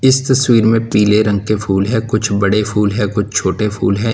इस तस्वीर में पीले रंग के फूल है कुछ बड़े फूल है कुछ छोटे फूल है।